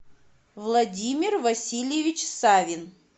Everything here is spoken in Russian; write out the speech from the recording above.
владимир васильевич савин